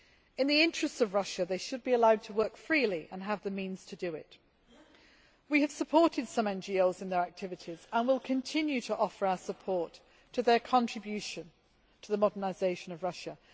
In the interests of Russia, they should be allowed to work freely and have the means to do it. We have supported some NGOs in their activities and will continue to offer our support to their contribution to the modernisation of Russia.